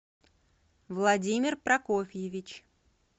владимир прокофьевич